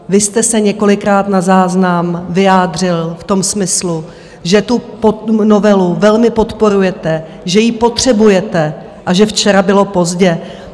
Vy jste se několikrát na záznam vyjádřil v tom smyslu, že tu novelu velmi podporujete, že ji potřebujete a že včera bylo pozdě.